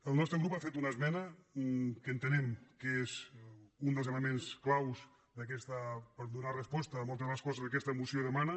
el nostre grup hi ha fet una esmena que entenem que és un dels elements clau per donar resposta a moltes de les coses que aquesta moció demana